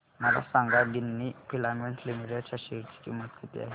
मला सांगा Ginni filaments limited च्या शेअर ची किंमत किती आहे